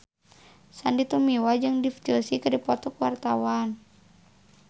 Sandy Tumiwa jeung Dev Joshi keur dipoto ku wartawan